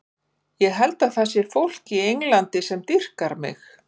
Ég held að það sé fólk í Englandi sem dýrkar mig.